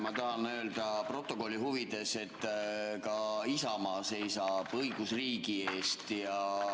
Ma tahan öelda protokolli huvides, et ka Isamaa seisab õigusriigi eest.